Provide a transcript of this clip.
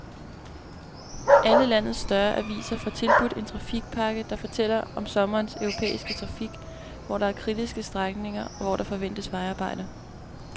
Alle landets større aviser får tilbudt en trafikpakke, der fortæller om sommerens europæiske trafik, hvor der er kritiske strækninger og hvor der forventes vejarbejder.